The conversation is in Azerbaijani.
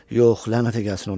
Yox, lənətə gəlsin onu.